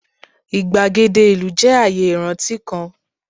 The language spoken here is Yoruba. igbagede ilu jẹ aaye iranti kan